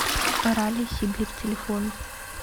ралли сибирь телефон